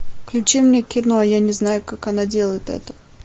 включи мне кино я не знаю как она делает это